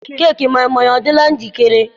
keeki moi moi adịla njikere?